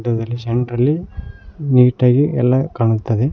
ಅದ್ರಲ್ಲಿ ಸೆಂಟ್ರಲ್ಲಿ ನೀಟಾಗಿ ಎಲ್ಲಾ ಕಾಣುತ್ತದೆ.